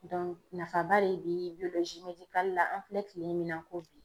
Dɔnku nafaba de be biyolozi medikali la an filɛ kile min na ko bi